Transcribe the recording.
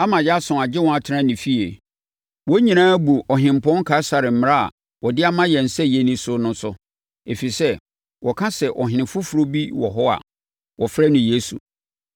ama Yason agye wɔn atena ne fie. Wɔn nyinaa abu Ɔhempɔn Kaesare mmara a ɔde ama yɛn sɛ yɛnni so no so, ɛfiri sɛ, wɔka sɛ, ɔhene foforɔ bi wɔ hɔ a wɔfrɛ no Yesu.”